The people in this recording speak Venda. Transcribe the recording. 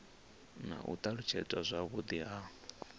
na u alutshedzwa zwavhudi ha